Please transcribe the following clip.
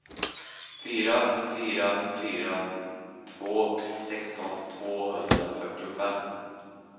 fyra fyra fyra två sexton tvåhundrafyrtiofem